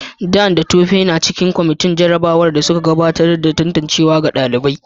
Dan da Tope na cikin kwamitin jarrabawar da suka gudanar da tantancewa ga ɗalibai.